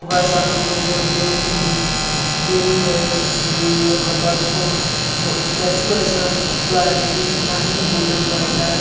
वह सब लोग देख रहे होंगे की देवी है जैसे सोइ हुई हैमतलब इसको स्टेचु है इसका पुतला है देखिये कितना ही गोल्डन कलर का है।